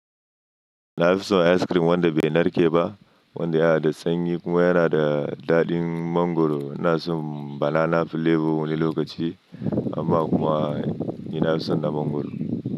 Na fi son ice cream wanda bai narke ba, wanda yana da sanyi kuma yana da daɗin mangwaro. Lna so banana flavor wani lokaci amma kuma ina son na mangwaro.